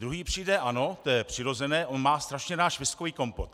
Druhý přijde: ano, to je přirozené, on má strašně rád švestkový kompot.